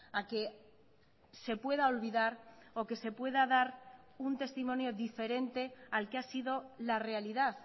a que se pueda olvidar o que se pueda dar un testimonio diferente al que ha sido la realidad